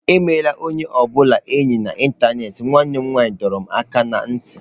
Emela onye ọ bụla enyi na ịntanetị nwanne m nwanyị dọrọ m aka ná ntị.